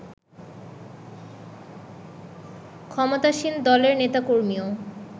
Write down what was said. ক্ষমতাসীন দলের নেতাকর্মীও